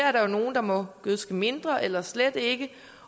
er nogle der må gødske mindre eller slet ikke